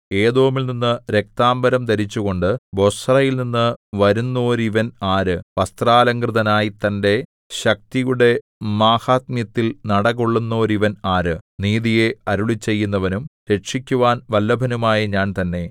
ഏദോമിൽ നിന്നു രക്താംബരം ധരിച്ചുകൊണ്ടു ബൊസ്രയിൽനിന്നു വരുന്നോരിവൻ ആര് വസ്ത്രാലംകൃതനായി തന്റെ ശക്തിയുടെ മാഹാത്മ്യത്തിൽ നടകൊള്ളുന്നോരിവൻ ആര് നീതിയെ അരുളിച്ചെയ്യുന്നവനും രക്ഷിക്കുവാൻ വല്ലഭനുമായ ഞാൻ തന്നെ